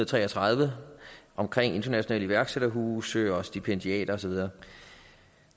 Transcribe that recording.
tre og tredive omkring internationale iværksætterhuse og stipendiater og så videre